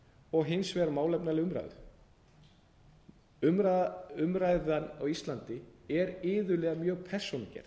og hins vegar málefnalega umræðu umræðan á íslandi er iðulega mjög persónugerð